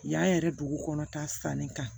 Yan yɛrɛ dugu kɔnɔ ta sanni kan